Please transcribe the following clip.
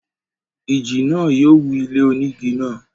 ìjì náà yóò wú ilé onígi náà.